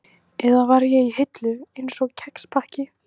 Eða var ég í hillu, einsog kexpakki?